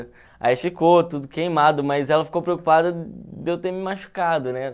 Aí ficou tudo queimado, mas ela ficou preocupada de eu ter me machucado, né?